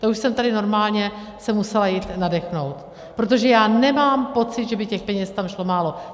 To už jsem tady normálně se musela jít nadechnout, protože já nemám pocit, že by těch peněz tam šlo málo.